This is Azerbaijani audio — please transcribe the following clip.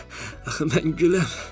Axı mən güləm.